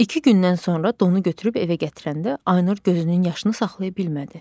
İki gündən sonra donu götürüb evə gətirəndə Aynur gözünün yaşını saxlaya bilmədi.